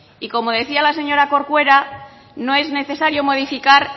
y como decía la señora corcuera no es necesario modificar